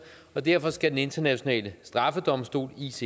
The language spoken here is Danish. og derfor skal den internationale straffedomstol icc